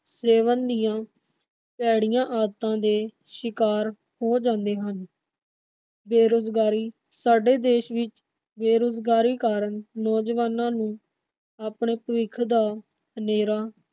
ਸੇਵਨ ਦੀਆਂ ਭੈੜੀਆਂ ਆਦਤਾਂ ਦੇ ਸ਼ਿਕਾਰ ਹੋ ਜਾਂਦੇ ਹਨ। ਬੇਰੁਜ਼ਗਾਰੀ ਸਾਡੇ ਦੇਸ਼ ਵਿਚ ਬੇਰੁਜ਼ਗਾਰੀ ਕਾਰਨ ਨੌਜਵਾਨਾਂ ਨੂੰ ਆਪਣੇ ਭਵਿੱਖ ਦਾ ਹਨੇਰਾ